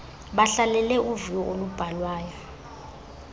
bahlalele uviwo olubhalwayo